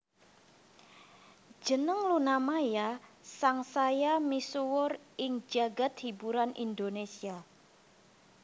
Jeneng Luna Maya sang saya misuwur ing jagad hiburan Indonésia